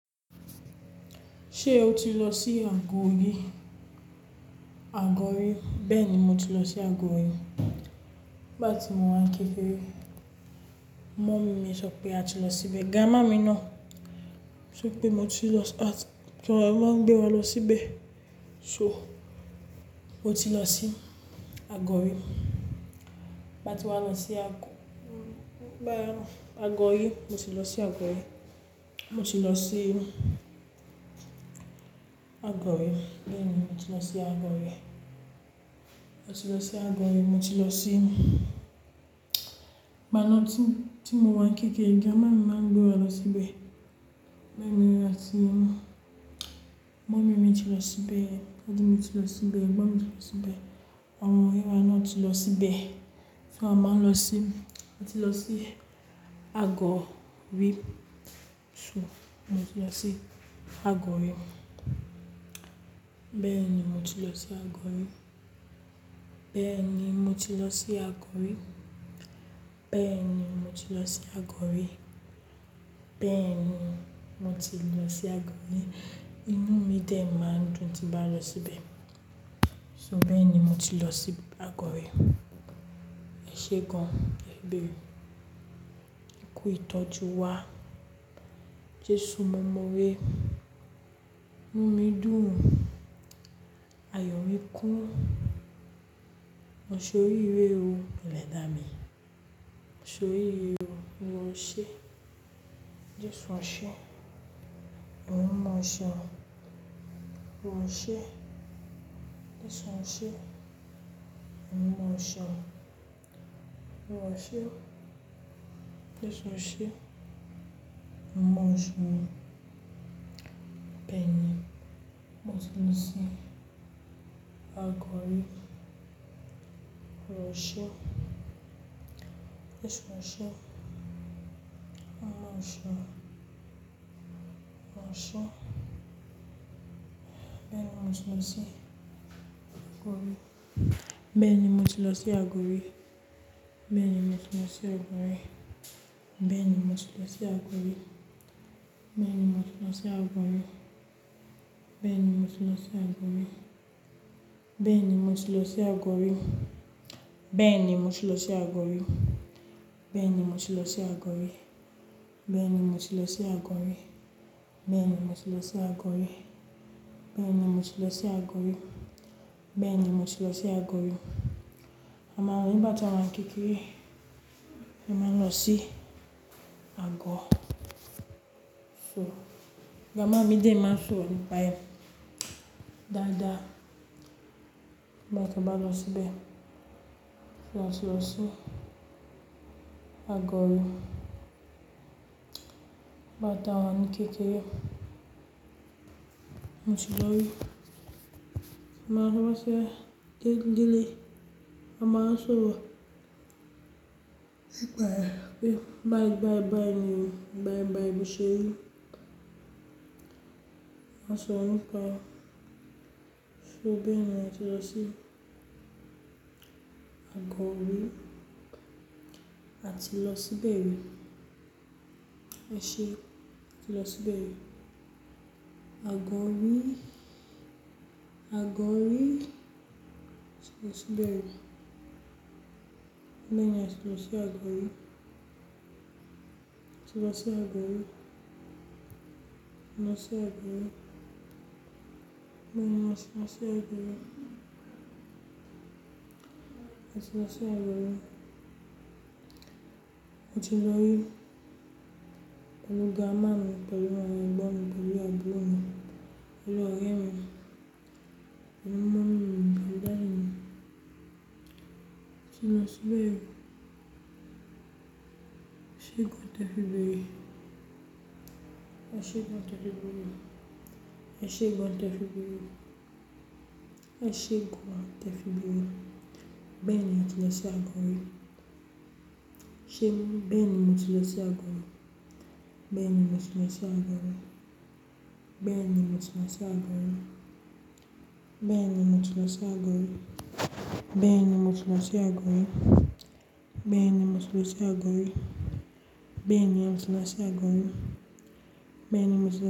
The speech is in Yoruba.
Ṣé o ti lọ sí Agori? Agori, bẹ́ẹ̀ ni mo ti lọ sí Agori. Nigbati mò ń wá kékere, mọ̀mí mi sọ pé a tí lọ síbè. Gámàmí náà sọpé mò ti lọ sì, àti tòrẹ máa gbé wa lọsíbè. So, mo ti lọ sí Agori. Báti wá lọsí Àgọ bá Agori, mo ti lọ sí Agori. Mo ti lọ sí Agori, bẹ́ẹ̀ ni mo ti lọ sí Agori. Mo ti lọ sí Agori, mó ti lọ sí gbọnátì tí mò ń wá kékeré. Grandma mi ma n gbè wa lọ síbẹ̀. Bẹ́ẹ̀ ni a ti, mummy mí ti lọ ṣíbè, daddy mi ti lọ ṣíbè, ẹ̀gbọ́n mi ti lọ ṣíbè, ọmọ-ọnrin rẹ náà ti lọ ṣíbè. Fúnra mí ni mo má ń lọṣi, a ti lọ ṣí Àgọ́ rí, so mo ti lọ ṣí Àgọ́ rí. Bẹ́ẹni, mò ti lọ ṣí Àgọ́ rí. Bẹ́ẹ́ní, mò ti lọ ṣí Àgọ́ rí. Bẹ́ẹ́ní, mò ti lọ ṣí Agori. Bẹ́ẹ́ní, mò ti lọ ṣí Agori. Inú mí dẹ́ máa ń dùn tí bàá ń lọ ṣíbè. So, bẹ́ẹ́ní mò ti lọ ṣí Àgọ́ rí. Ẹ sé gan-an, ebé. Ẹ kú ìtọ́ ju wá. Jesu mo mọ ore. Inu mi dun. Ayọ mi kun. Mo ṣe oriire oo Ẹlẹda mi. Mo se oriire oo. Oluwa ose. Jesu ó ṣe, èmi mímọ́ ó ṣe. Olúwa ó ṣe. Jesu ó ṣe. Ẹ̀mí mímọ́ ó ṣe. Olúwa ó ṣe. Jesu ó ṣe. Ẹ̀mí mímọ́ ó se. Beeni, mo ti lọsí Àgọ́ rí. Olúwa ó ṣe. Jésù ó ṣeun. Ẹ̀mí mímọ́ ó ṣe. Ó ṣe. Béèni mo ti lọ sí Àgọ́ rí. Béèni mo ti lọ sí Agodi. Béèni mo ti lọ sí Agodi. Béèni mo ti lọ sí Agodi. Béèni mo ti lọ sí Agodi. Béèni mo ti lọ sí Agodi. Béèni mo ti lọ sí Agodi. Béèni mo ti lọ sí Agodi. Béèni mo ti lọ sí Agodi. Béèni mo ti lọ sí Agodi. Béèni mo ti lọ sí Agodi. Béèni mo ti lọ sí Agodi. Nígbà tí a ń kékeré, a má n lọ sí àgọ́. So grandma mi de máa n sọro nipa «ẹ dáadáa nigba ta bá lọ síbẹ̀, “Tiba á ti lọ sí agodi?” Nigba ta wa ni kekere, mó ti lòri máa rànṣẹ́ dídílẹ̀. Mama ń sọ wa pe bayi bayi bayi ni o, bayi bayi lo se ri. Má sọro nípa so bé eniyen ti lọ sí Agodi. Ati lo si be ri. Èṣé! A ti lọ ṣibẹ ri. Agori, Agori ti lo ṣí bẹ́rí. Bẹ́ẹ̀ ni a ti lọ só Agori ati lo ṣí Agori. A lọ si Agori. Bẹ́ẹ̀ni a ti lọ só Agori. A ti lọ só Agodi. A ti lóri pelú gràndmá mi pẹ̀lú awon ègbón mi, pẹ̀lụ́ abúlò mi, pẹ̀lú ọ̀rẹ́ mi, pẹ̀lú mọómi mi pẹ̀lú dàdí mi. Ati lọ só ibẹ̀ ri. Èse gan tẹ fi bere. Ese gan tẹ fi bere. Esse gan tẹ fi bere. Ese gan tẹ fi bere. Bẹ́ẹ̀ni a ti lọ só Agodi ri. Se beeni mo ti lo si ago ri. Béèni mo ti lọ só Agori. Béèni mo ti lọ só Agodi. Béèni mo ti lọ só Agodi. Béèni mo ti lọ só Agodi. Béèni mo ti lọ só Agodi. Béèni mo ti lọ só Agodi. Béèni mo ti.